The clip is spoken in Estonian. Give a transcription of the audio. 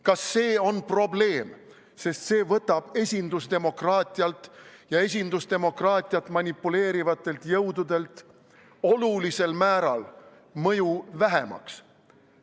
Kas see on probleem, sest see võtab esindusdemokraatialt ja esindusdemokraatiaga manipuleerivatelt jõududelt olulisel määral mõju vähemaks?